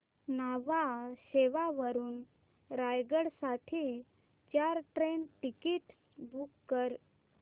न्हावा शेवा वरून रायगड साठी चार ट्रेन टिकीट्स बुक कर